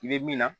I bɛ min na